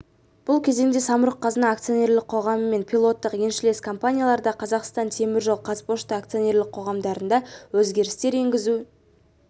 бұл кезеңде самұрық-қазына акционерлік қоғамы мен пилоттық еншілес компанияларда қазақстан темір жолы қазпошта акционерлік қоғамдарында өзгерістер енгізу